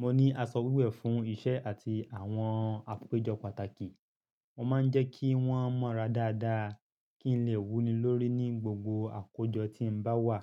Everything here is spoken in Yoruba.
mo ní aṣọ wíwẹ̀ fún iṣẹ́ àti àwọn àpéjọ pàtàkì." mo máa ń jẹ́ kí wón mọ́ra dáadáa kí n lè wúni lórí ní gbogbo àkójọ tí ń bá wà.